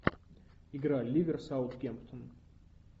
игра ливер саутгемптон